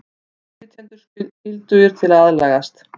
Innflytjendur skyldugir til að aðlagast